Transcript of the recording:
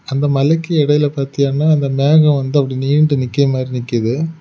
அந்த மலைக்கு இடையில பாத்தீயன்னா அந்த மேகம் வந்து அப்படி நீண்டு நிக்கிய மாதிரி நிக்குது.